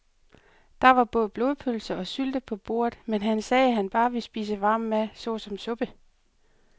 Der var både blodpølse og sylte på bordet, men han sagde, at han bare ville spise varm mad såsom suppe.